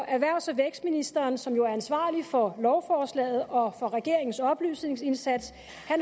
erhvervs og vækstministeren som jo er ansvarlig for lovforslaget og for regeringens oplysningsindsats